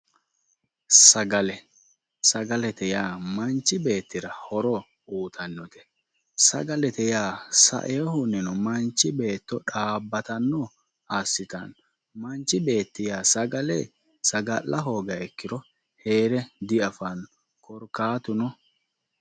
Sagale, sagalete yaa manchi beettira horo uuyiitannote sagalete yaa saeehunnina manchu beetto xaabbatanno assitanno manchi beetti yaa sagale saga'la hoogiha ikkiro heere diafanno. korkaatuno